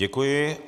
Děkuji.